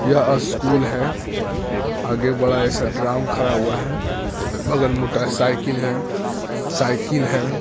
यह एक स्कूल है आगे बड़ा-सा ग्राउन्ड खड़ा हुआ है बगल मे मोटा सा साइकिल है साइकिल है।